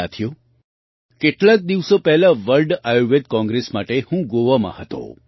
સાથીઓ કેટલાક દિવસો પહેલાં વર્લ્ડ આયુર્વેદ કૉંગ્રેસ માટે હું ગોવામાં હતો